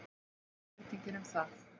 Þetta er spurning um það.